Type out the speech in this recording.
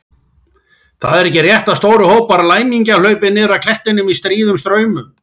Það er ekki rétt að stórir hópar læmingja hlaupi niður af klettum í stríðum straumum.